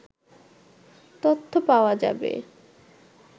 তথ্য পাওয়া যাবে